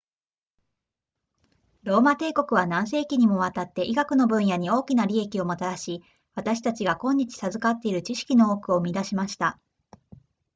ローマ帝国は何世紀にもわたって医学の分野に大きな利益をもたらし私たちが今日授かっている知識の多くを生み出しました